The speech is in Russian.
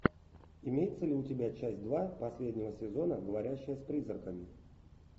имеется ли у тебя часть два последнего сезона говорящая с призраками